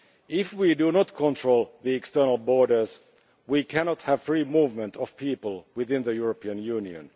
If we do not control the external borders we cannot have free movement of people within the European Union.